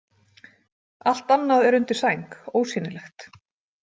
Allt annað er undir sæng, ósýnilegt.